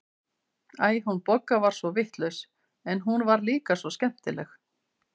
Æ, hún Bogga var svo vitlaus, en hún var líka svo skemmtileg.